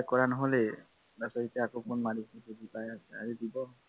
কৰা নহলেই তাৰ পাছত আকৌ phone মাৰিছে busy পাই আছে আজি দিব